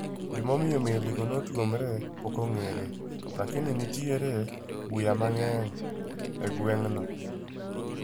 gimanomiyo meligo otuomre pokongere lakini nentiere buya mangey e gweng no